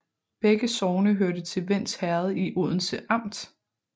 Begge sogne hørte til Vends Herred i Odense Amt